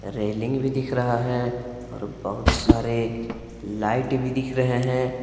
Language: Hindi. रेलिंग भी दिख रहा है और बहुत सारे लाइट भी दिख रहे हैं।